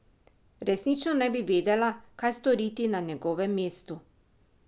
Resnično ne bi vedela, kaj storiti na njegovem mestu.